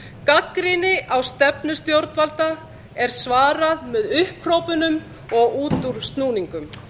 gagnrýni á stefnu stjórnvalda er svarað með upphrópunum og útúrsnúningum